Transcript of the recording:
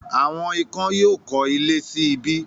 “Àwọn ikán” yóò kọ́ ilé sí ibí.